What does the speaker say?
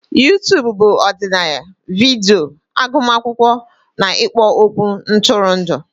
YouTubu bụ ọdịnaya vidiyo, agụmakwụkwọ na ikpo okwu ntụrụndụ.